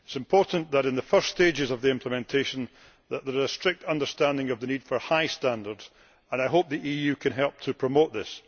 It is important that in the first stages of the implementation there is a strict understanding of the need for high standards, and I hope the EU can help to promote this.